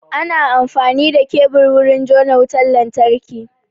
Ana amfani da kebur wurin jona wutan lantarki.